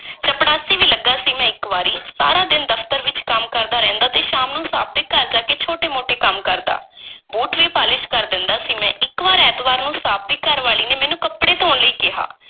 ਚਪੜਾਸੀ ਵੀ ਲੱਗਾ ਸੀ, ਮੈਂ ਇੱਕ ਵਾਰੀ, ਸਾਰਾ ਦਿਨ ਦਫ਼ਤਰ ਵਿੱਚ ਕੰਮ ਕਰਦਾ ਰਹਿੰਦਾ ਤੇ ਸ਼ਾਮ ਨੂੰ ਸਾਬ੍ਹ ਦੇ ਘਰ ਜਾ ਕੇ ਛੋਟੇ-ਮੋਟੇ ਕੰਮ ਕਰਦਾ ਬੂਟ ਵੀ ਪਾਲਸ਼ ਕਰ ਦਿੰਦਾ ਸੀ ਮੈਂ, ਇੱਕ ਵਾਰ ਐਤਵਾਰ ਨੂੰ ਸਾਬ੍ਹ ਦੀ ਘਰਵਾਲੀ ਨੇ ਮੈਨੂੰ ਕੱਪੜੇ ਧੋਣ ਲਈ ਕਿਹਾ।